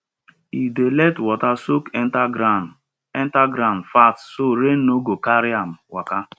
e dey let water soak enter ground enter ground fast so rain no go carry am waka